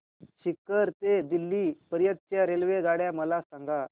सीकर ते दिल्ली पर्यंत च्या रेल्वेगाड्या मला सांगा